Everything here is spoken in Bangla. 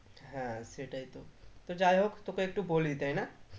হ্যাঁ সেটাই তো তো যাই হোক তোকে একটু বলি তাই না